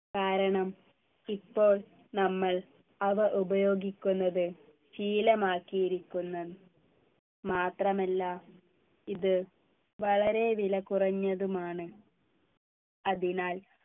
കാരണം ഇപ്പോൾ നമ്മൾ അവ ഉപയോഗിക്കുന്നത് ശീലമാക്കിയിരിക്കുന്നു മാത്രമല്ല ഇത് വളരെ വിലകുറഞ്ഞതുമാണ് അതിനാൽ